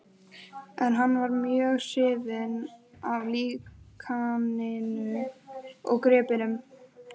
En hann var mjög hrifinn af líkaninu og gripnum.